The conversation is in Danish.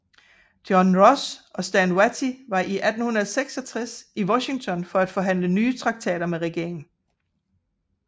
John Ross og Stand Watie var i 1866 i Washington for at forhandle nye traktater med regeringen